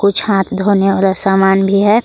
छात धोने वाला सामान भी है।